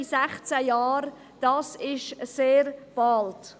16 Jahre, das ist sehr bald.